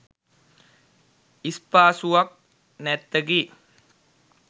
ඉස්පාසුවක් නැත්තකි